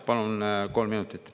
Palun kolm minutit.